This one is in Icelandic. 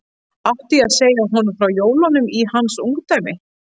Átti ég segja honum frá jólunum í hans ungdæmi?